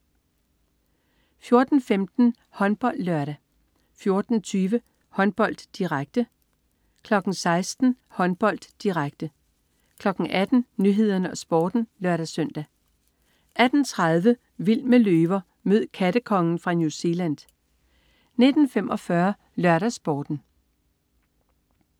14.15 HåndboldLørdag 14.20 Håndbold, direkte 16.00 Håndbold, direkte 18.00 Nyhederne og Sporten (lør-søn) 18.30 Vild med løver. Mød "kattekongen" fra New Zealand 19.45 LørdagsSporten